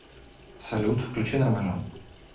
салют включи нормально